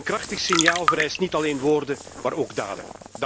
Een krachtig signaal vereist niet alleen woorden, maar ook daden.